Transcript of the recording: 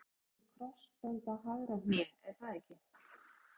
Þetta eru slitin krossbönd á hægra hné er það ekki?